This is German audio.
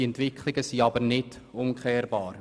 Diese Entwicklungen sind aber nicht umkehrbar.